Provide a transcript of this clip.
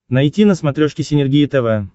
найти на смотрешке синергия тв